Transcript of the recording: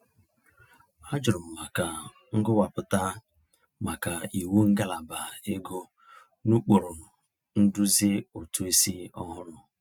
A jụrụ m maka nkọwapụta maka iwu ngalaba ego n'ụkpụrụ nduzi ụtụisi ọhụrụ.